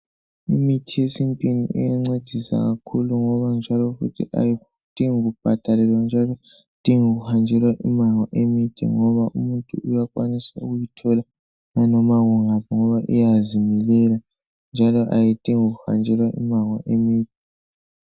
Imithi yesintwini iyancedisa kakhulu ngoba njalo ayidingi kubhadalelwa njalo ayidingi kuhanjelwa imango emide. Ngoba imithi uyakwanisa ukuyithola noma ngaphi ngoba iyazimilela. Njalo ayidingi kuhanjelwa imango emide.